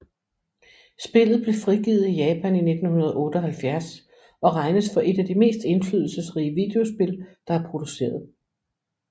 Spillet blev frigivet i Japan i 1978 og regnes for et af de mest indflydelsesrige videospil der er produceret